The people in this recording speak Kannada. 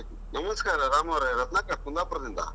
ನಮಸ್ಕಾರ ರಾಮು ಅವರೇ, ರತ್ನಾಕರ್ ಕುಂದಾಪುರದಿಂದ.